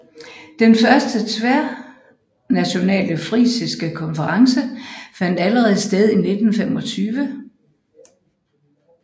Den første tværnationale frisiske konference fandt allerede sted i 1925